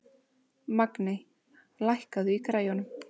Magney, lækkaðu í græjunum.